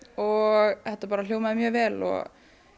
og þetta hljómaði mjög vel og